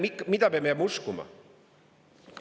Aga mida peame uskuma?